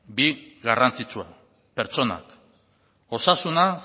bi garrantzitsua pertsonak osasuna